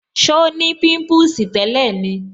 So ni pimpusi tẹ́lẹ̀ ni